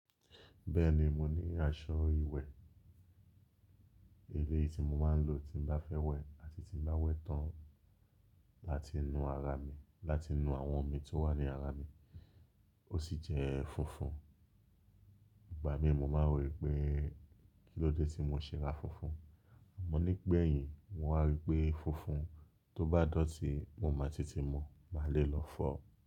Bẹ́ẹ̀ni, mo ní aṣọ ìwẹ̀ eléyìí tí mo máa ń lò tí bá fẹ́ wẹ̀ àti tí bá wẹ tán láti nu ara mi, láti nu àwọn omi tó wà ní ara mi. Ó sì jẹ́ funfun. Ìgbà mí mo máa rí pé kílódé tí mo ṣe ra funfun. Àmọ́ nígbẹ̀yìn mo wá rí pé funfun tó bá dọ̀tí, mo máa tètè mọ̀, màá le lọ fọ́ ọ.